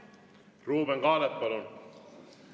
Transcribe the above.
Ruuben Kaalep, palun!